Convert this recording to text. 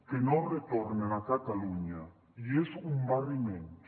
que no retornen a catalunya i és un barri menys